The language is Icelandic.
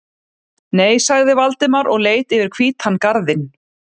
Nei sagði Valdimar og leit yfir hvítan garðinn.